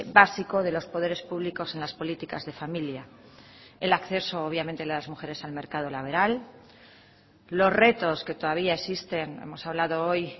básico de los poderes públicos en las políticas de familia el acceso obviamente de las mujeres al mercado laboral los retos que todavía existen hemos hablado hoy